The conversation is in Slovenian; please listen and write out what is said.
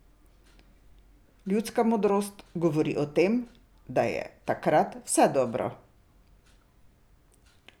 Ljudska modrost govori o tem, da je takrat vse dobro.